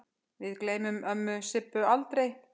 Við gleymum ömmu Sibbu aldrei.